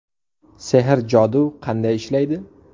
Sehr-jodu qanday ishlaydi?